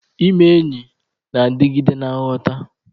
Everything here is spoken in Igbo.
Ime enyi na-adigide na nghọta.